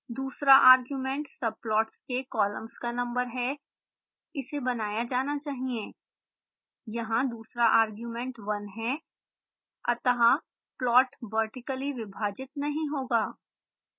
दूसरा argument subplots के columns का नंबर है इसे बनाया जाना चाहिए